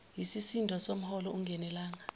yisisindo somholo ungenelanga